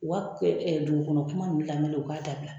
U ka dugukɔnɔ kuma ninnu laminɛni u k'a dabila